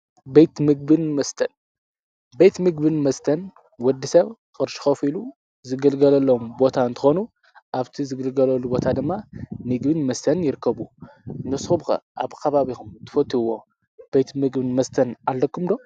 ቤት ምግብን መስትን ቤት ምግብን መስትን ወዲ ሰብ ቅርሹ ከፊሉ ዝግልገለሎም ቦታ እንትኮኑ ኣብቲ ዝግልገልሉ ቦታ ድማ ምግብን መስተን ይርከቡ። ንስኩም ከ ኣብ ከባቢኩም ትፈትውዎ ቤት ምግቢ መስተን ኣለኩም ዶ?